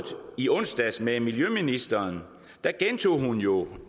i onsdags med miljøministeren gentog hun jo